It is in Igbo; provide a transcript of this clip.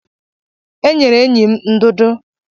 E nyere enyi m ndụdụ.